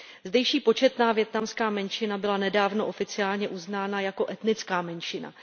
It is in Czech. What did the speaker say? Zdejší početná vietnamská menšina byla nedávno oficiálně uznána jako etnická menšina.